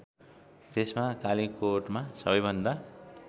त्यसमा कालीकोटमा सबैभन्दा